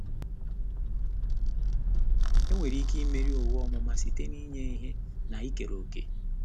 Enwere ike imeri owu ọmụma site n'inye ihe na ikere òkè.